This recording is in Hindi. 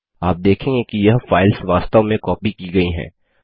आप देखेंगे कि यह फाइल्स वास्तव में कॉपी की गई हैं